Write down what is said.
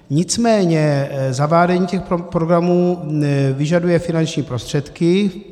Nicméně zavádění těch programů vyžaduje finanční prostředky.